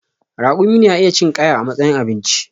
Raƙumi na iya cin ƙaya a matsayin abinci